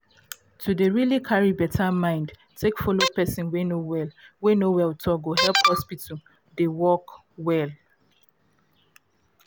to dey um carry beta mind take follow person wey no well wey no well talk go help hospital dey work well